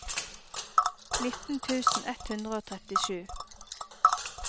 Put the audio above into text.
nitten tusen ett hundre og trettisju